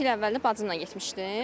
İki il əvvəlində bacımla getmişdim.